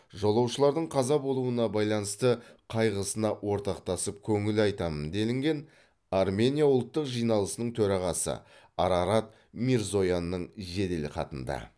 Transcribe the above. жолаушылардың қаза болуына байланысты қайғысына ортақтасып көңіл айтамын делінген армения ұлттық жиналысының төрағасы арарат мирзоянның жеделхатында